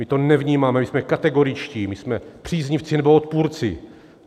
My to nevnímáme, my jsme kategoričtí, my jsme příznivci, nebo odpůrci.